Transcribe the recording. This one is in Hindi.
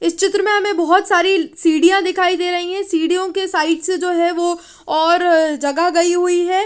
इस चित्र में हमें बहोत सारी सीढ़ियां दिखाई दे रही है सीढ़ियों के साइड से जो है वो और जगह गई हुई है।